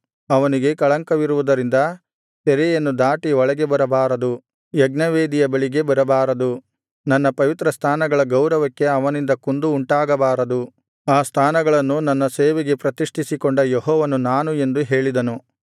ಅವನಿಗೆ ಕಳಂಕವಿರುವುದರಿಂದ ತೆರೆಯನ್ನು ದಾಟಿ ಒಳಗೆ ಬರಬಾರದು ಯಜ್ಞವೇದಿಯ ಬಳಿಗೆ ಬರಬಾರದು ನನ್ನ ಪವಿತ್ರಸ್ಥಾನಗಳ ಗೌರವಕ್ಕೆ ಅವನಿಂದ ಕುಂದು ಉಂಟಾಗಬಾರದು ಆ ಸ್ಥಾನಗಳನ್ನು ನನ್ನ ಸೇವೆಗೆ ಪ್ರತಿಷ್ಠಿಸಿಕೊಂಡ ಯೆಹೋವನು ನಾನು ಎಂದು ಹೇಳಿದನು